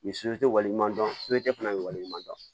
Nin wale ɲuman dɔn fana bɛ wale ɲuman dɔn